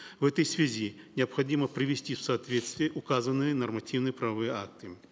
в этой связи необходимо привести в соответствие указанные нормативно правовые акты